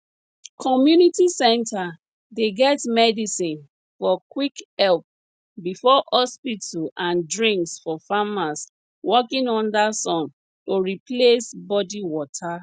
community center dey get medicine for quick help before hospital and drinks for farmers working under sun to replace body water